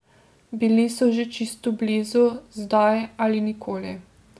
Bili so že čisto blizu, zdaj ali nikoli.